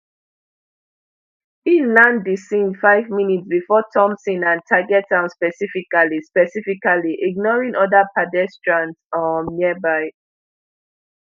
e land di scene five minutes before thompson and target am specifically specifically ignoring oda pedestrians um nearby